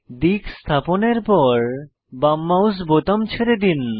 দিক স্থাপনের পর বাম মাউস বোতাম ছেড়ে দিন